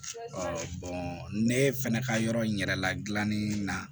ne fɛnɛ ka yɔrɔ in yɛrɛ la gilanni na